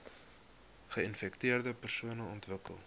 geinfekteerde persone ontwikkel